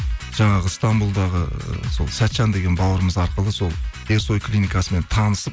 жаңағы стамбулдағы сол сәтжан деген бауырымыз арқылы сол ерсой клиникасымен танысып